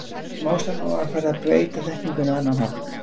Smám saman var farið að beita þekkingunni á annan hátt.